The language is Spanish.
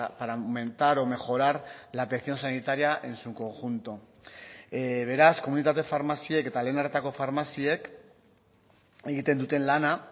para aumentar o mejorar la atención sanitaria en su conjunto beraz komunitate farmaziek eta lehen arretako farmaziek egiten duten lana